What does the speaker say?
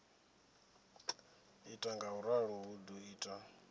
ita ngauralo hu do ita